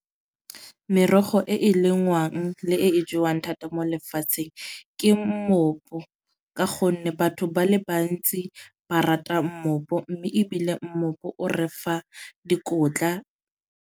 Merogo e e lengwang le e e jewang thata mo lefatsheng ke mmopu. Ka gonne batho ba le bantsi ba rata mmopu. Mme ebile mmopu o re fa dikotla.